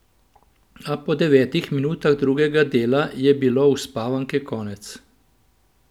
A po devetih minutah drugega dela je bilo uspavanke konec.